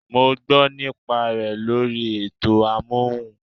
I heard the advert on radio